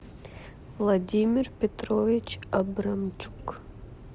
владимир петрович абрамчук